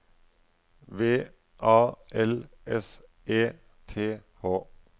V A L S E T H